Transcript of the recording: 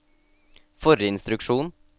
forrige instruksjon